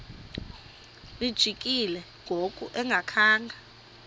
lijikile ngoku engakhanga